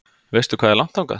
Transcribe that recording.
Veistu hvað er langt þangað?